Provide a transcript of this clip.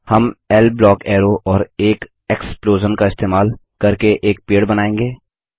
हम L block arrow और एक एक्सप्लोजन का इस्तेमाल करके एक पेड़ बनायेंगे